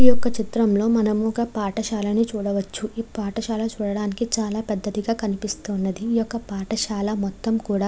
ఈ యొక్క చిత్రం లో మనం ఒక పాఠశాల ని చూడవచ్చు ఈ పాఠశాల చూడటానికి చాలా పెద్దది గా కనిపిస్తూ ఉన్నది ఈ యొక్క పాఠశాల మొత్తం కూడా--